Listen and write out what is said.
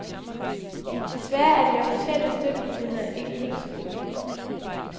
Desværre er de officielle støttemuligheder ikke helt så gode.